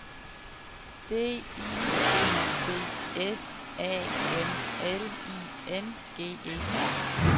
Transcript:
D I G T S A M L I N G E R